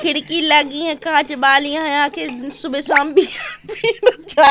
खिड़की लगी है कांच वाली है। आखिर सुबह शाम --